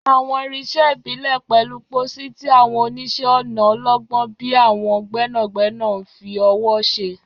Àwọn irinṣẹ́ ìbílẹ̀ pẹ̀lú pósí, tí àwọn oníṣẹ́-ọnà ọlọ́gbọ́n bíi àwọn gbẹ́nàgbẹ́nà ń fi ọwọ́ ṣe.